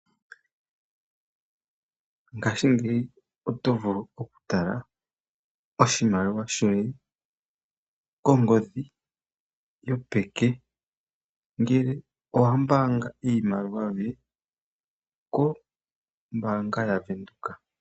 Ngashingeyi oto vulu okutala oshimaliwa shoye kongodhi yopeke ngele owa mbaanga iimaliwa yoye kombaanga yaVenduka.